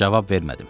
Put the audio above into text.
Cavab vermədim.